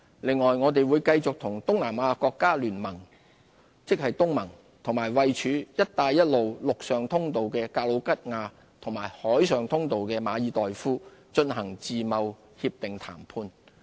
此外，我們會繼續與東南亞國家聯盟和位處"一帶一路""陸上通道"的格魯吉亞及"海上通道"的馬爾代夫進行自貿協定談判。